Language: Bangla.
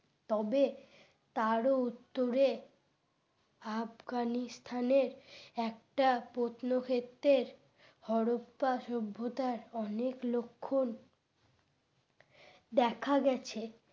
তবে তার উত্তরে আফগানিস্তানে একটা প্রত্ন ক্ষেত্রের হরপ্পা সভ্যতার অনেক লক্ষণ দেখা গেছে।